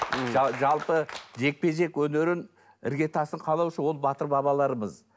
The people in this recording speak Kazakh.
жалпы жекпе жек өнерін ірге тасын қалаушы ол батыр бабаларымыз